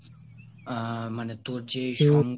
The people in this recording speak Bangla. আহ মানে তোর যেই ,